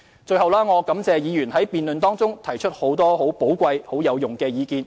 最後，我感謝議員在辯論中提出很多寶貴有用的意見。